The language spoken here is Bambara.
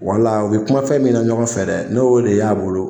u bɛ kuma fɛn min na ɲɔgɔn fɛ dɛ ne y'o de y'a bolo